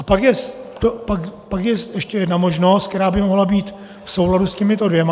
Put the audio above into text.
A pak je ještě jedna možnost, která by mohla být v souladu s těmito dvěma.